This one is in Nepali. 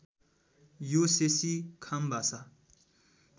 यो शेशी खाम भाषा